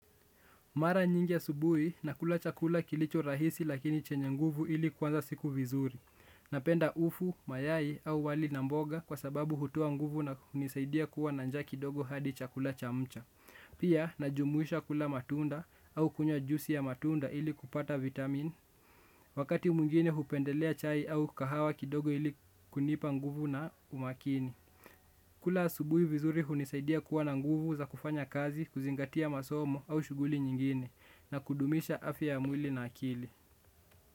Mara nyingi yasubuhi nakula chakula kilicho rahisi lakini chenye nguvu ili kwanza siku vizuri. Napenda ufu, mayai au wali na mboga kwa sababu hutuo nguvu na unisaidia kuwa na njaa kidogo hadi chakula chamcha. Pia najumuisha kula matunda au kunywa juisi ya matunda ili kupata vitamin. Wakati muingine hupendelea chai au kahawa kidogo ili kunipa nguvu na umakini. Kula asubuhi vizuri unisaidia kuwa na nguvu za kufanya kazi, kuzingatia masomo au shuguli nyingine. Na kudumisha afia ya mwili na akili.